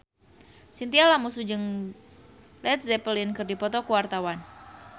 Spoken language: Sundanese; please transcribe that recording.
Chintya Lamusu jeung Led Zeppelin keur dipoto ku wartawan